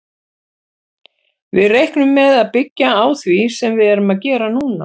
Við reiknum með að byggja á því sem við erum að gera núna.